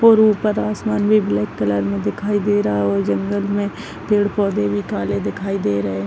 --और ऊपर आसमान ब्लैक कलर मे दिखाई दे रहा है और जंगल मे पेड़ पोधे भी काले दिखाई दे रहे--